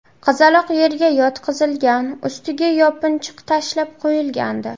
Qizaloq yerga yotqizilgan, ustiga yopinchiq tashlab qo‘yilgandi.